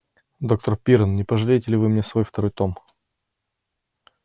доктор пиренн не покажете ли вы мне свой второй том